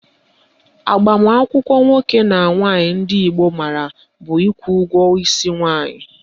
Agbamakwụkwọ nwoke na nwaanyị ndị Igbo maara bụ ịkwụ ụgwọ isi nwaanyị